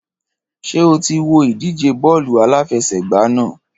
Ṣé o ti wo ìdíje bọ́ọ̀lù aláfẹsẹ̀gbá náà?